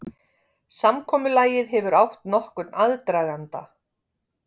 Samkomulagið hefur átt nokkurn aðdraganda